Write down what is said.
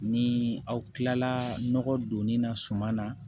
Ni aw kilala nɔgɔ donni na suman na